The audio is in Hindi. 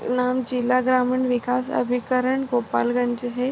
नाम जिला ग्रामण विकास अभिकरण गोपालगंज है।